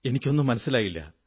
എനിക്കൊന്നും മനസ്സിലായില്ല